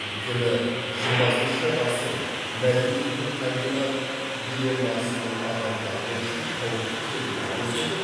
өйткені жиырмасыншы ғасыр мәдениет пен табиғат дилеммасының адам тағдыры үшін қауіпті екендігін көрсетіп